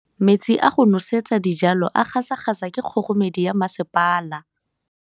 Metsi a go nosetsa dijalo a gasa gasa ke kgogomedi ya masepala.